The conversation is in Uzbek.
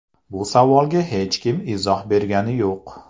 Bu savolga hech kim izoh bergani yo‘q.